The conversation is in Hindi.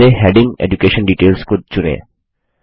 तो पहले हेडिंग एड्यूकेशन डिटेल्स को चुनें